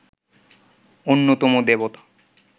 অন্যতম দেবতা